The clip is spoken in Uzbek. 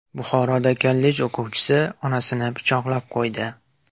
Buxoroda kollej o‘quvchisi onasini pichoqlab qo‘ydi.